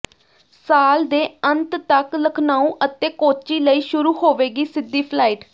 ਸਾਲ ਦੇ ਅੰਤ ਤੱਕ ਲਖਨਊ ਅਤੇ ਕੋਚੀ ਲਈ ਸ਼ੁਰੂ ਹੋਵੇਗੀ ਸਿੱਧੀ ਫਲਾਈਟ